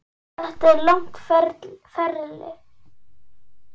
Þetta er langt ferli.